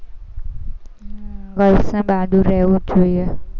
girls ને બહાદુર રહેવું જ જોઈએ.